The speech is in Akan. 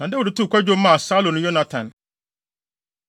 Na Dawid too kwadwom maa Saulo ne Yonatan.